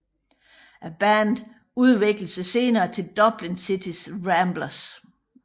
Bandet udviklede sig senere til Dublin City Ramblers